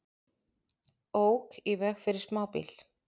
Ók í veg fyrir smábíl